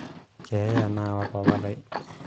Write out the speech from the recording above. keeya naawa papalai